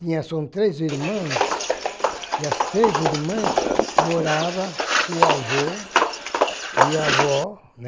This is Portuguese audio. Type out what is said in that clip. Tinha são três irmãs, e as três irmãs moravam com o avô e a avó, né.